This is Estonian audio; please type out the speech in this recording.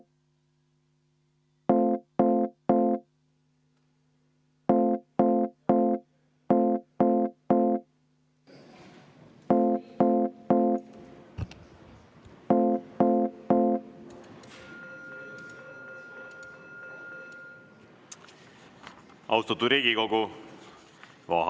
Austatud Riigikogu!